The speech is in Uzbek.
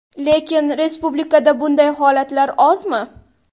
Lekin respublikada bunday holatlar ozmi?